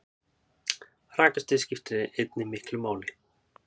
Rakastig skiptir einnig miklu máli.